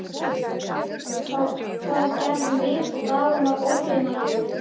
Það gerðum við og dagurinn varð ógleymanlegur.